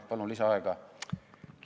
Palun lisaaega!